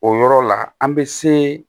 O yɔrɔ la an bɛ se